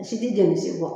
Si ti jɔli si bɔ